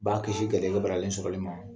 B'a kisi kɛlɛlɔ baralen sɔrɔli ma.